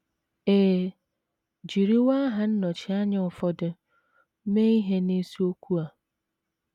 E jiriwo aha nnọchianya ụfọdụ mee ihe n’isiokwu a.